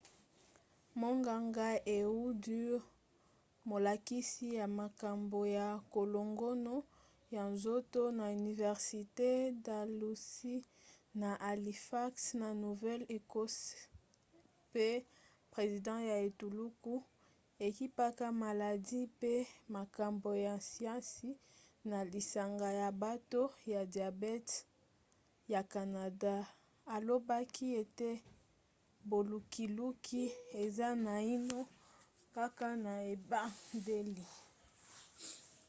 monganga ehud ur molakisi ya makambo ya kolongono ya nzoto na université dalhousie na halifax na nouvelle-écosse pe president ya etuluku ekipaka maladi mpe makambo ya siansi na lisanga ya bato ya diabete ya canada alobaki ete bolukiluki eza naino kaka na ebandeli